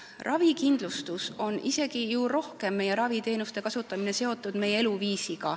Raviteenuste kasutamine on isegi rohkem meie eluviisiga seotud.